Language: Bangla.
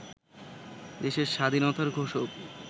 দেশের স্বাধীনতার ঘোষক